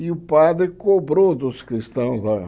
E o padre cobrou dos cristãos lá.